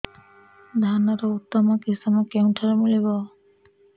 ଧାନର ଉତ୍ତମ କିଶମ କେଉଁଠାରୁ ମିଳିବ